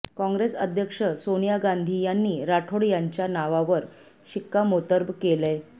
काँग्रेस अध्यक्ष सोनिया गांधी यांनी राठोड यांच्या नावावर शिक्कामोर्तब केलंय